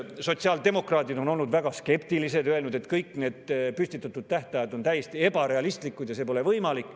Sotsiaaldemokraadid on olnud väga skeptilised ja öelnud, et kõik need püstitatud tähtajad on täiesti ebarealistlikud ja see pole võimalik.